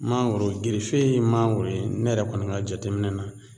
Mangoro gerefe ye mago ye ne yɛrɛ kɔni ka jateminɛ na